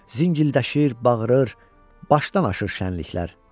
Zingildəşir, bağırır, başdan aşır şənliklər.